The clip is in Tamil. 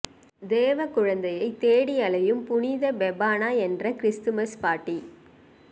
தேவ குழந்தையைத் தேடி அலையும் புனித பெபானா என்ற கிறிஸ்துமஸ் பாட்டி